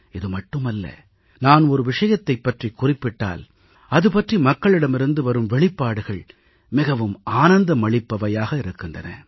இது மட்டுமல்ல நான் ஒரு விஷயத்தைப் பற்றிக் குறிப்பிட்டால் அதுபற்றி மக்களிடமிருந்து வரும் வெளிப்பாடுகள் மிகவும் ஆனந்தம் அளிப்பவையாக இருக்கின்றன